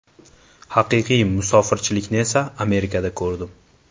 Haqiqiy musofirchilikni esa Amerikada ko‘rdim.